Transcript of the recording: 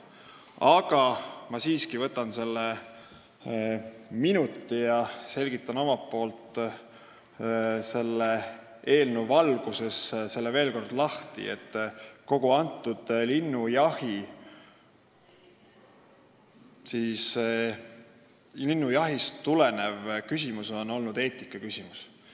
Aga ma siiski võtan minuti ja selgitan selle eelnõu valguses omalt poolt veel kord, et kogu see linnujahiküsimus on olnud eetikaküsimus.